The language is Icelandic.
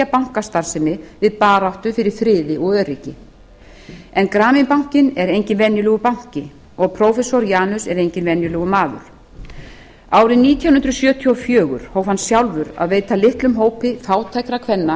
bankastarfsemi við baráttu fyrir friði og öryggi en grameen bankinn er enginn venjulegur banki og prófessor yunus enginn venjulegur maður árið nítján hundruð sjötíu og fjögur hóf hann sjálfur að veita litlum hópi fátækra kvenna